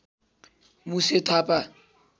Muse Thapa